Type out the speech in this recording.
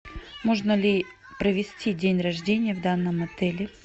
можно ли провести день рождения в данном отеле